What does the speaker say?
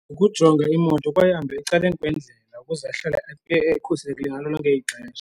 Ukujonga iimoto kwaye ahambe ecaleni kwendlela ukuze ahlale ekhuselekile ngalo lonke ixesha.